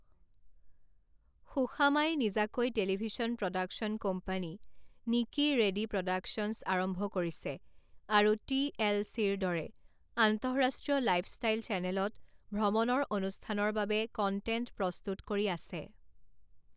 সুশামাই নিজাকৈ television production company নিকি ready productions আৰম্ভ কৰিছে আৰু টি এল চিৰ দৰে আন্তঃৰাষ্ট্ৰীয় লাইফষ্টাইল চেনেলত ভ্ৰমনৰ অনুষ্ঠানৰ বাবে কণ্টেণ্ট প্ৰস্তুত কৰি আছে।